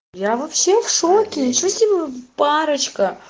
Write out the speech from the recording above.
я вообще в шоке ничё себе парочка